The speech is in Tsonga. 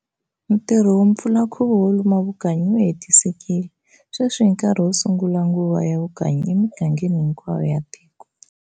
Ntirho wo pfula nkhuvo wo luma vukanyi wu hetisekile, sweswi i nkarhi wo sungula nguva ya vukanyi e migangeni hinkwayo ya tiko.